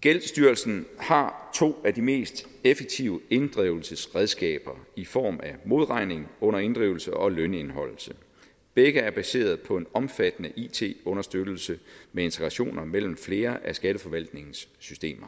gældsstyrelsen har to af de mest effektive inddrivelsesredskaber i form af modregning under inddrivelse og lønindeholdelse begge er baseret på en omfattende it understøttelse med integrationer mellem flere af skatteforvaltningens systemer